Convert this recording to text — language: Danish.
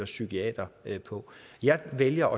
psykiater på jeg vælger